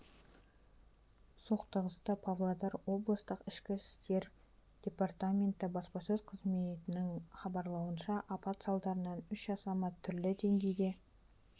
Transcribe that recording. соқтығысты павлодар облыстық ішкі істер департаменті баспасөз қызметінің хабарлауынша апат салдарынан үш азамат түрлі деңгейде